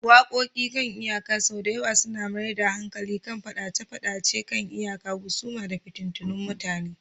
Waƙoƙi kan iyaka sau da yawa suna mayar da hankali kan fadace-fadacen kan iyaka, husuma, da fitattun mutane